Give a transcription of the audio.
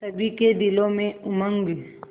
सभी के दिलों में उमंग